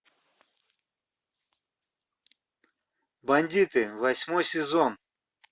бандиты восьмой сезон